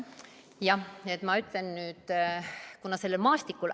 Jah, ma ütlen nüüd, kuna sellel maastikul ...